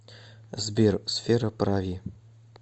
сбер сфера прави